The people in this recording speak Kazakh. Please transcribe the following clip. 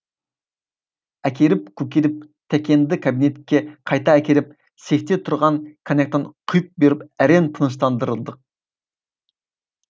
әкелеп көкеліп тәкеңді қабинетке қайта әкеліп сейфте тұрған коньяктан құйып беріп әрең тыныштандырдық